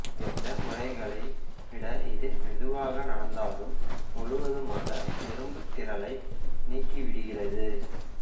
பிற முறைகளை விட இது மெதுவாக நடந்தாலும் முழுவதுமாக எறும்புத்திரளை நீக்கிவிடுகிறது